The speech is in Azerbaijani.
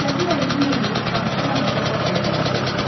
Səfir əlini yelləyib danışa-danışa qapıya tərəf getdi.